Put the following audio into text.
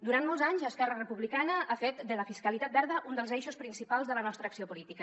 durant molts anys esquerra republicana ha fet de la fiscalitat verda un dels eixos principals de la nostra acció política